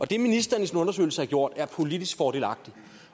det ministeren i sin undersøgelse har gjort er politisk fordelagtigt